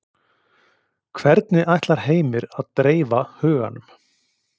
Hvernig ætlar Heimir að dreifa huganum?